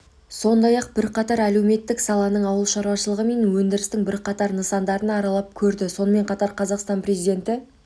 сондай-ақ бірқатар әлеуметтік саланың ауыл шаруашылығы мен өндірістің бірқатар нысандарын аралап көрді сонымен қатар қазақстан президенті